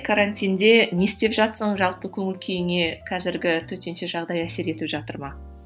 карантинде не істеп жатырсың жалпы көңіл күйіңе қазіргі төтенше жағдай әсер етіп жатыр ма